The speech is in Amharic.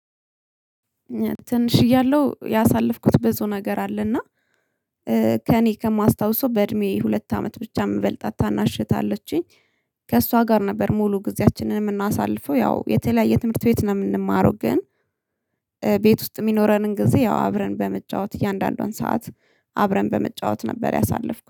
ትንሽ እያለሁ ያሳለፍኩት ብዙ ነገር አለና ከእኔ ከማስታውሰው በእድሜ ሁለት አመት ብቻ የምበልጣት ታናሽ እህት አለችኝ። ከእሷ ጋር ነበር ሙሉ ጊዜያችንን የምናሳልፈው ያው የተለያየ ትምህርት ቤት ነው የምንማረው ግን ቤት ውስጥ የሚኖረንን ጊዜ ያው አብረን በመጫወት የእያንዳንዷን ሰዓት አብረን በመጫወት ነበር። ያሳለፍኩ